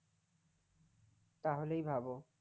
তাহলেই ভাবো